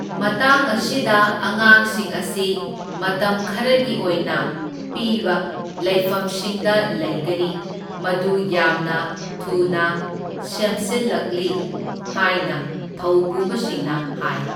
ꯃꯇꯥꯡ ꯑꯁꯤꯗ ꯑꯉꯥꯡꯁꯤꯡ ꯑꯁꯤ ꯃꯇꯝ ꯈꯔꯒꯤ ꯑꯣꯏꯅ ꯄꯤꯕ ꯂꯩꯐꯝꯁꯤꯡꯗ ꯂꯩꯒꯅꯤ, ꯃꯗꯨ ꯌꯥꯝꯅ ꯊꯨꯅ ꯁꯦꯝꯁꯤꯜꯂꯛꯂꯤ ꯍꯥꯏꯅ ꯊꯧꯄꯨꯕꯁꯤꯡꯅ ꯍꯥꯏ꯫